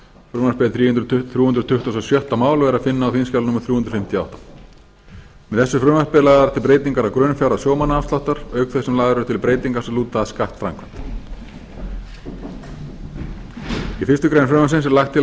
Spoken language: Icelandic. frumvarpið er þrjú hundruð tuttugustu og sjötta mál og er að finna á þingskjali númer þrjú hundruð fimmtíu og átta með þessu frumvarpi eru lagðar til breytingar á grunnfjárhæð sjómannaafsláttar auk þess sem lagðar eru til breytingar sem lúta að skattframkvæmd í fyrstu grein frumvarpsins er lagt til að